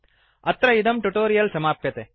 अत्र इदं ट्यूटोरियल् समाप्यते